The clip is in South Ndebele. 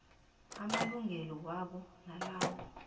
amalungelo wabo nalawo